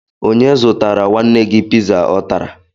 Onye zụtara nwanne gị piza ọ tara?